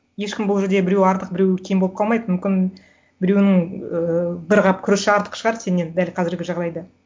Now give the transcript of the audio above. ешкім бұл жерде біреуі артық біреуі кем болып қалмайды мүмкін біреуінің ыыы бір қап күріші артық шығар сеннен дәл қазіргі жағдайда